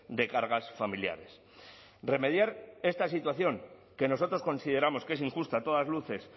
de cargas familiares remediar esta situación que nosotros consideramos que es injusta a todas luces